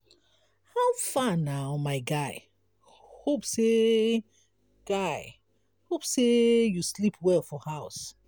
how far na my guy? hope sey guy? hope sey you sleep well for house.